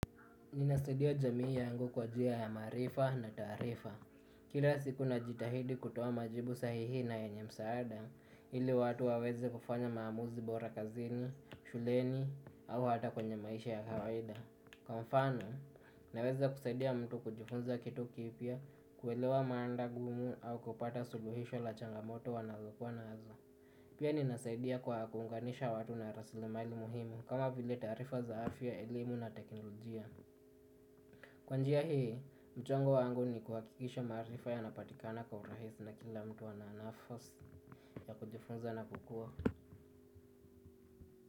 Ninasaidia jamii yangu kwa njia ya maarifa na taarifa. Kila siku najitahidi kutoa majibu sahihi na yenye msaada ili watu waweze kufanya maamuzi bora kazini, shuleni au hata kwenye maisha ya kawaida. Kwa mfano, naweza kusaidia mtu kujifunza kitu kipya, kuelewa mada ngumu au kupata suluhisho la changamoto wanazokuwa nazo. Pia ninasaidia kwa kuunganisha watu na rasilimali muhimu kama vile taarifa za afya, elimu na teknolojia. Kwa njia hii, mchango wangu ni kuhakikisha maarifa yanapatikana kwa urahisi na kila mtu ana nafasi ya kujifunza na kukua.